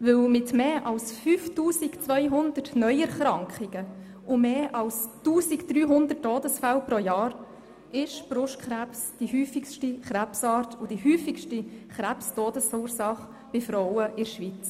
Denn mit mehr als 5200 Neuerkrankungen und mehr als 1300 Todesfällen pro Jahr ist Brustkrebs die häufigste Krebsart und die häufigste Krebs-Todesursache bei Frauen in der Schweiz.